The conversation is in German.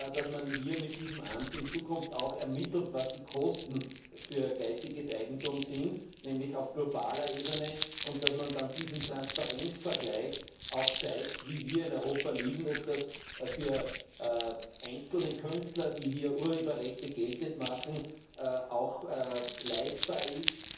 dass man hier mit diesem Amt in Zukunft auch ermittelt, was die Kosten für geistiges Eigentum sind, nämlich auf globaler Ebene, und dass man dann in diesem Transparenzvergleich auch zeigt, wie wir in Europa stehen, und ob es für einzelne Künstler, die hier Urheberrechte geltend machen, auch leistbar ist,